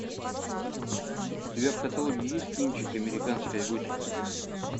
у тебя в каталоге есть кинчик американская готика